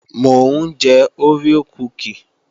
Mò ń jẹ oreo kúkì